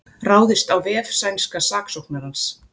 Ráðist á vef sænska saksóknarans